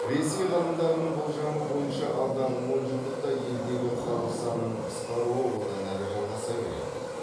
ресей ғалымдарының болжамы бойынша алдағы онжылдықта елдегі халық санының қысқаруы одан әрі жалғаса береді